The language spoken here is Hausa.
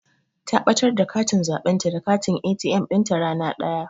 Ta ɓatar da katin zaɓenta da katin ATM ɗinta rana daya.